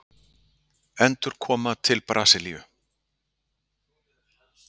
Endurkoma til Brasilíu?